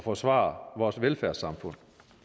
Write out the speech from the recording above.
forsvare vores velfærdssamfund